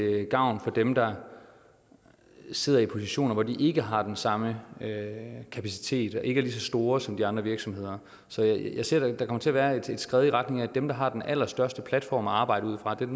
gavn for dem der sidder i positioner hvor de ikke har den samme kapacitet og ikke er lige så store som de andre virksomheder så der kommer til at være et skred i retning af at dem der har den allerstørste platform at arbejde ud fra dem